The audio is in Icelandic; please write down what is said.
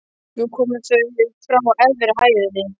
Nú komu þau frá efri hæðinni.